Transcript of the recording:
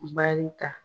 Baarita